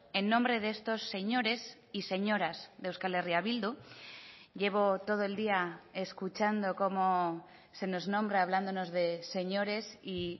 en nombre de estos señores y señoras de euskal herria bildu llevo todo el día escuchando como se nos nombra hablándonos de señores y